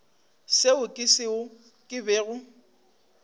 seo ke seo ke bego